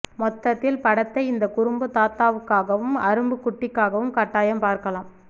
மொத்தத்தில் படத்தை இந்த குறும்பு தாத்தாவுக்காவும் அரும்பு குட்டிகாகவும் கட்டாயம் பார்க்கலாம்